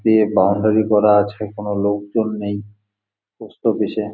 টিয়ে বাউন্ডারি করা আছে কোন লোকজন নেই পোস্ট অফিস -এ।